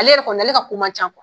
Ale yɛrɛ kɔni ale ka ko man ca